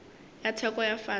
ya theko ya fase le